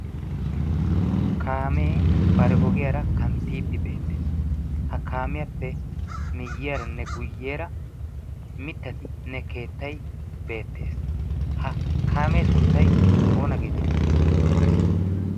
Kaamee bari ogiyaara kanttidi beettees. Ha kaamiyaappe miyiyaaranne guyyeera miittattinne keettay beettees. Ha kaame sunttay oonaa geeteetti?